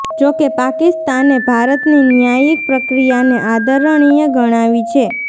જો કે પાકિસ્તાને ભારતની ન્યાયિક પ્રક્રિયાને આદરણીય ગણાવી છે